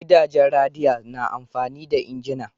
Gidajen radiya na amfani da injina.